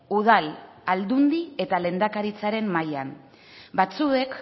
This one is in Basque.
udal aldundi eta lehendakaritzaren mailan batzuek